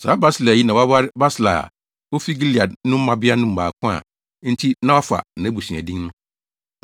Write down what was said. (Saa Barsilai yi, na waware Barsilai a ofi Gilead no mmabea no mu baako a enti na wafa nʼabusua din.)